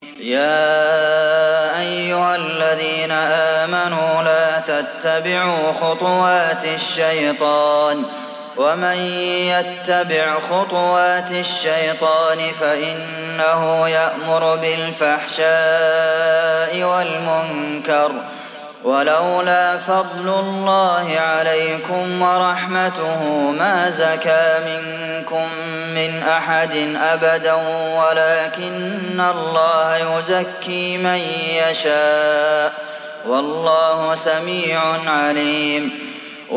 ۞ يَا أَيُّهَا الَّذِينَ آمَنُوا لَا تَتَّبِعُوا خُطُوَاتِ الشَّيْطَانِ ۚ وَمَن يَتَّبِعْ خُطُوَاتِ الشَّيْطَانِ فَإِنَّهُ يَأْمُرُ بِالْفَحْشَاءِ وَالْمُنكَرِ ۚ وَلَوْلَا فَضْلُ اللَّهِ عَلَيْكُمْ وَرَحْمَتُهُ مَا زَكَىٰ مِنكُم مِّنْ أَحَدٍ أَبَدًا وَلَٰكِنَّ اللَّهَ يُزَكِّي مَن يَشَاءُ ۗ وَاللَّهُ سَمِيعٌ عَلِيمٌ